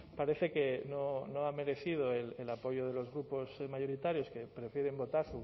parece que no ha merecido el apoyo de los grupos mayoritarios que prefieren votar